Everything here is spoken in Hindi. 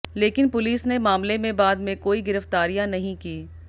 लेकिन पुलिस ने मामले में बाद में कोई गिरफ्तारियां नहीं की